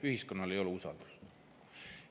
Ühiskonnal ei ole usaldust.